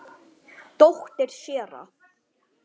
Dóttir séra